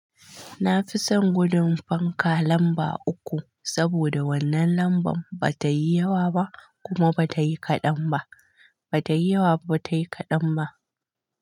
Na fi son gudun fanka lamba uku, saboda wannan lamban ba ta yi yawa ba kuma ba ta yi kaɗan ba, ba ta yi yawa ba ta yi kaɗan ba.